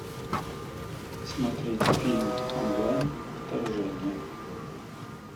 смотреть фильм онлайн вторжение